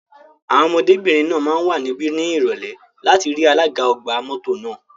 Àwọn ọmọdébìnrin náà máa wà níbí ní Ìrọ̀lẹ́ láti rí alága ọgbà mọ́tò náà.